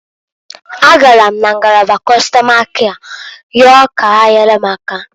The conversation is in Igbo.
A gara m na ngalaba Kọstọma kịa yọọ ka ha nyere m aka.